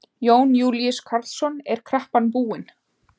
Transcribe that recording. Jón Júlíus Karlsson: Er kreppan búin?